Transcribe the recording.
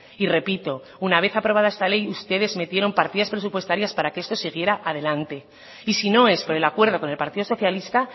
y repito una vez aprobada esta ley ustedes metieron partidas presupuestarias para que esto siguiera adelante y si no es por el acuerdo con el partido socialista